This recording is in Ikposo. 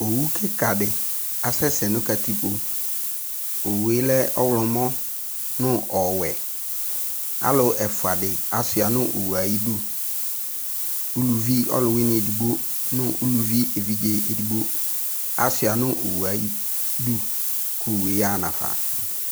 Owu kika de asɛsɛ no katikpoOwue lɛ ɔwlɔmɔ no ɔwɛ, Alu ɛfua de asua no owue aye du, uluvi ɔluwene edigbo no uluvi evidze edigbo asua no owue aye du ko owue yaha no afa